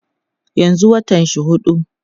yanzun watan shi huɗu